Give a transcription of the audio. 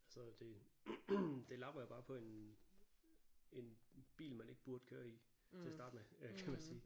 Så det det lapper jo bare på en en bil man ikke burde køre i til at starte med kan man sige